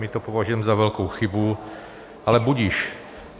My to považujeme za velkou chybu, ale budiž.